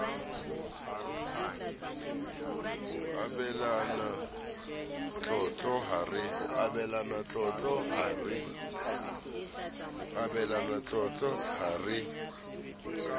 ho abelana tlotlo ha re